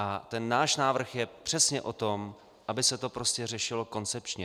A ten náš návrh je přesně o tom, aby se to prostě řešilo koncepčně.